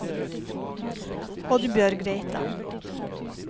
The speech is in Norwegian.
Oddbjørg Reitan